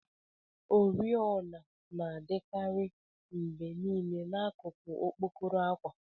Oriọna na-adikarị mgbe niile na n'akụkụ okpokoro akwa.